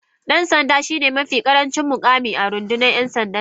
dan sanda shine mafi karancin mukami a rundunar ‘yan sandan Najeriya.